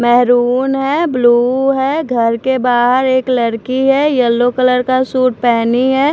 Maroon है blue है घर के बाहर एक लड़की है येलो कलर का सूट पहनी है।